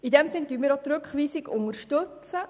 In diesem Sinn unterstützen wir die Rückweisung.